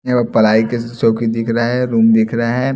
ये पलाई के चौकी दिख रहा है रूम दिख रहा है।